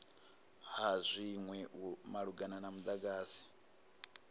ha zwinwe malugana na mudagasi